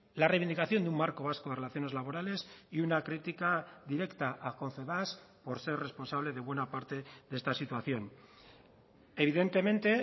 la reivindicación de un marco vasco de relaciones laborales y una crítica directa a confebask por ser responsable de buena parte de esta situación evidentemente